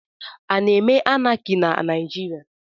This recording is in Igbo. A na-eme Anaki na Naijiria?